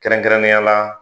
Kɛrɛnkɛrɛnnenya la